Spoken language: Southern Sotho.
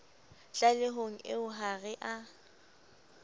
tlalehong eo ha re a